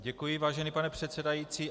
Děkuji, vážený pane předsedající.